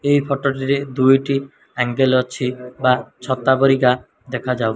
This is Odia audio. ଏହି ଫଟୋ ଟିରେ ଦୁଇଟି ଆଙ୍ଗେଲ୍ ଅଛି ବା ଛତା ପରିକା ଦେଖାଯାଉ --